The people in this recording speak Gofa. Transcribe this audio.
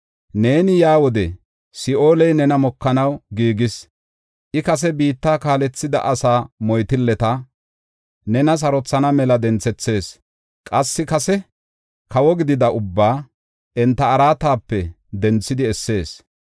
Neeni yaa wode, Si7ooley nena mokanaw giigis; I kase biitta kaalethida asaa moytilleta, nena sarothana mela denthethees; qassi kase kawo gidida ubbaa enta araatape denthidi essees.